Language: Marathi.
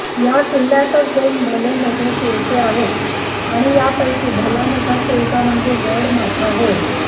या किल्ल्यातच दोन भले मोठे सुळके आहेत आणि यापैकी भलामोठा सुळका म्हणजे गडमाथा होय